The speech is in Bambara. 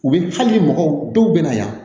U bɛ hali mɔgɔw dɔw bɛ na yan